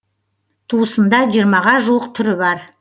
туысында жиырмаға жуық түрі бар